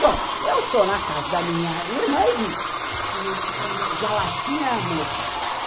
Bom, eu estou na casa da minha irmã e vi leite conden vi a latinha moça.